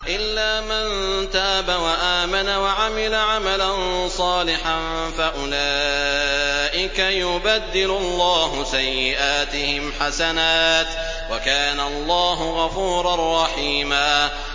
إِلَّا مَن تَابَ وَآمَنَ وَعَمِلَ عَمَلًا صَالِحًا فَأُولَٰئِكَ يُبَدِّلُ اللَّهُ سَيِّئَاتِهِمْ حَسَنَاتٍ ۗ وَكَانَ اللَّهُ غَفُورًا رَّحِيمًا